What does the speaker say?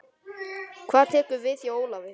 Hvað tekur við hjá Ólafi?